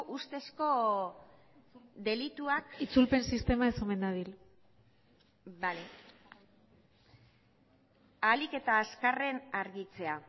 ustezko delituak itzulpen sistema ez omen dabil bale ahalik eta azkarren argitzea